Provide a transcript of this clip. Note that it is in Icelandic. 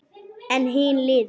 En hin hliðin.